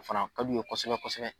O fana ka d'u ye kosɛbɛ kosɛbɛ.